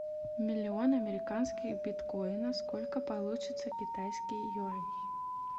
миллион американских биткоина сколько получится китайских юаней